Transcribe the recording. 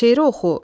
Şeiri oxu.